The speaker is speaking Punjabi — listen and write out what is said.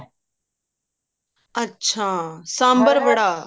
ਅੱਛਾ ਸਾਮਬਰ ਵੜਾ